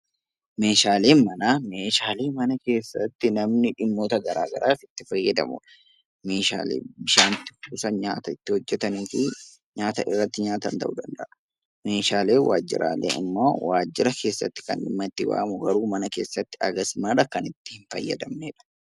Meeshaaleen manaa meeshaalee mana keessatti namni dhimmoota garagaraaf itti fayyadamudha. Meeshaalee bishaan itti kuusan nyaata itti hojjataniifi nyaata irratti nyaatan ta'uu danda'a. Meeshaaleen waajiraalee ammoo waajira keessatti kan dhimma itti bahamu garuu mana keessatti hagas mara kan itti hin fayyadamnedha.